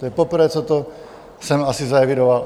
To je poprvé, co jsem to asi zaevidoval.